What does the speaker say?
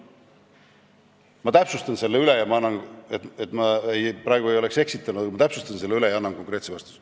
Ma täpsustan selle üle, et ma praegu ei oleks eksitanud, ja annan konkreetse vastuse.